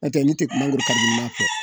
Nɔtɛ n'i tɛ ne tɛ mangoro kari